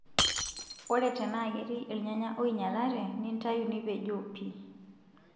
Ore tenaa ketii irnyanya oinyalate nintayu nipejoo pii.